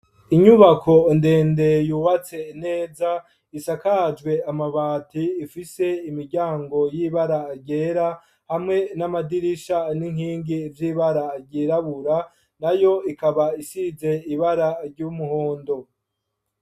Inyubako ndende yubatse neza. Isakajwe amabati, ifise imiryango y'ibara ryera hamwe n'amadirisha n'inkingi z'ibara ryirabura, nayo ikaba isize ibara ry'umuhondo.